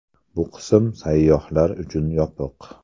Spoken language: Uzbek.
Bu qism sayyohlar uchun yopiq.